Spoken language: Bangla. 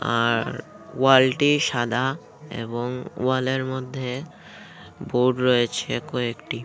আর ওয়াল -টি সাদা এবং ওয়াল -এর মধ্যে বোর্ড রয়েছে কয়েকটি।